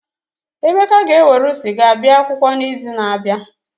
Emeka ga-ewerụ sịga bia akwụkwọ n'izu na-abịa.